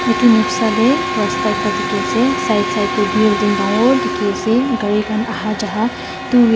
etu noksa teh rasta ekta dikhi ase side side teh building dangor dikhi ase gari khan aha jaha two whee.